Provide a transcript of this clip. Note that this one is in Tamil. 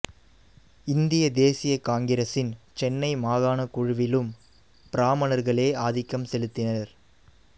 இந்திய தேசிய காங்கிரசின் சென்னை மாகாணக் குழுவிலும் பிராமணர்களே ஆதிக்கம் செலுத்தினர்